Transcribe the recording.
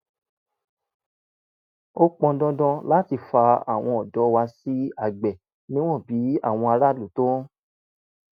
ó pọn dandan láti fa àwọn ọ̀dọ́ wá sí àgbẹ̀ níwọ̀n bí àwọn aráàlú tó ń